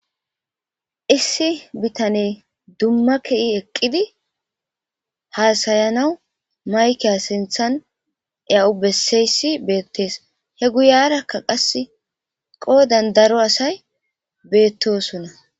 issi bitaney dumma ke7i eqqidi haasayanawu maykey sinthan ea7u besseyssi beettees he guyarakka qass qoodan daro asay beettosunna